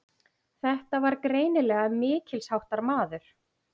Þetta var greinilega mikilsháttar maður.